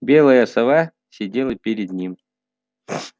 белая сова сидела перед ним